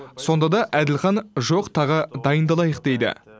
сонда да әділхан жоқ тағы дайындалайық дейді